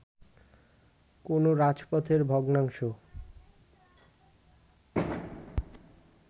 কোনো রাজপথের ভগ্নাংশ